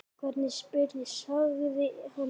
Hvernig spyrðu, sagði hann.